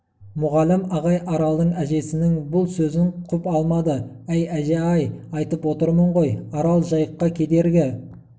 мұғалім ағай аралдың әжесінің бұл сөзін құп алмады әй әже-ай айтып отырмын ғой арал жайыққа кедергі